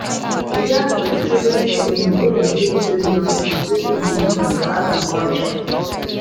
we dance for di closing ceremony wey dem take hail young pipo wey dey do new ting for agriculture.